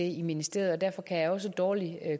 i ministeriet derfor kan jeg også dårligt